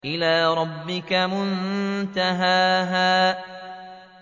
إِلَىٰ رَبِّكَ مُنتَهَاهَا